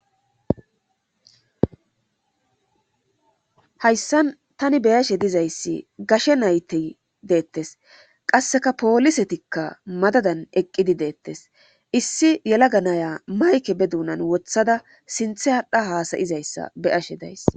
hayssan tani beyashe dizayssi gashe nayte deettes qasseka poolisetikka madadan eqqidi deettes issi yela ganaya mayke be duunan wothada sinthe hadha haasayizayssa beyashe days